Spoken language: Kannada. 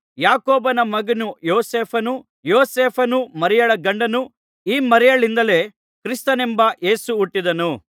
ಯಾಕೋಬನ ಮಗನು ಯೋಸೇಫನು ಯೋಸೇಫನು ಮರಿಯಳ ಗಂಡನು ಈ ಮರಿಯಳಿಂದಲೇ ಕ್ರಿಸ್ತನೆಂಬ ಯೇಸು ಹುಟ್ಟಿದನು